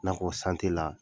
I n'a fɔ la